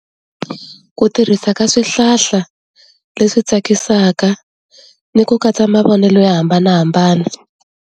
Ku tirhisa ka swihlahla leswi tsakisaka ni ku katsa mavonelo yo hambanahambana.